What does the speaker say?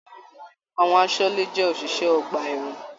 Àwọn àsọle jẹ oṣiṣẹ ọgbà ẹwọn.